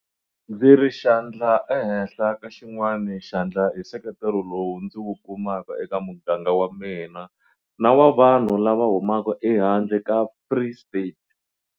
Ndzi ri xandla ehenhla ka xin'wana xandla hi nseketelo lowu ndzi wu kumaka eka muganga wa mina na wa vanhu lava humaka ehandle ka Free State.